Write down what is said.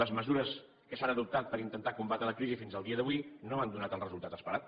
les mesures que s’han adoptat per intentar combatre la crisi fins al dia d’avui no han donat el resultat esperat